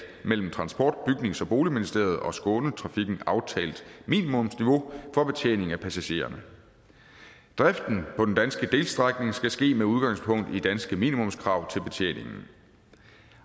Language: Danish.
mellem transport bygnings og boligministeriet og skånetrafikken aftalt minimumsniveau for betjening af passagererne driften på den danske delstrækning skal ske med udgangspunkt i danske minimumskrav til betjeningen